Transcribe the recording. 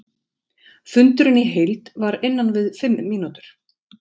Fundurinn í heild var innan við fimm mínútur.